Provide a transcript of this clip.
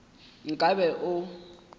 nka be o be o